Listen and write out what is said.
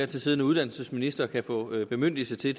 tid siddende uddannelsesminister kan få bemyndigelse til